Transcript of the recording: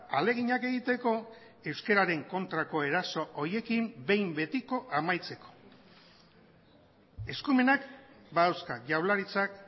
ahaleginak egiteko euskararen kontrako eraso horiekin behin betiko amaitzeko eskumenak badauzka jaurlaritzak